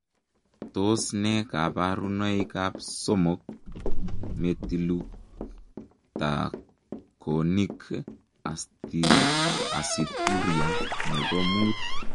Tos nee kabarunoik ap somok metiklutakonic asituria nepoo muut?